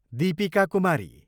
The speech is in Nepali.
दीपिका कुमारी